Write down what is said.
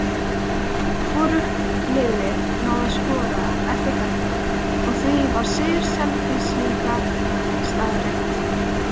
Hvorugt liðið náði að skora eftir þetta og því var sigur Selfyssinga staðreynd.